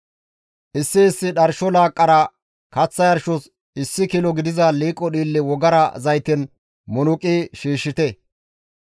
Issi issi dharsho laaqqara kaththa yarshos issi kilo gidiza liiqo dhiille wogara zayten munuqi shiishshite.